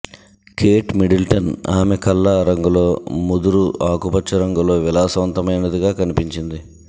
Kate Middleton ఆమె కళ్ళ రంగులో ముదురు ఆకుపచ్చ రంగులో విలాసవంతమైనదిగా కనిపించింది